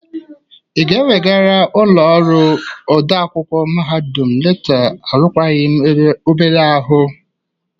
Ị ga-ewegara ụlọ ọrụ ode akwụkwọ mahadum leta arụkwagi m Ebere ahụ?